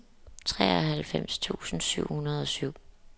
treoghalvfems tusind syv hundrede og syv